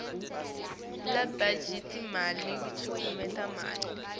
lebatjali timali kutekulima